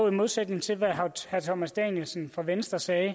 i modsætning til hvad herre thomas danielsen fra venstre sagde